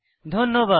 ধন্যবাদ